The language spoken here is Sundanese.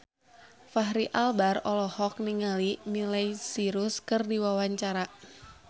Fachri Albar olohok ningali Miley Cyrus keur diwawancara